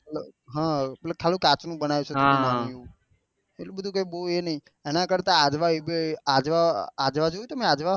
હા એટલા ખાલી કાંચ નું બનાવિયું છે એટલે બધું બહુ એ નહિ એના કરતા આજવા એ આજવા જોયું તમે